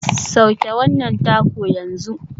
Sauke wannan taco yanzu.